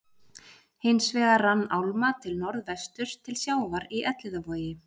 Hins vegar rann álma til norðvesturs til sjávar í Elliðavogi.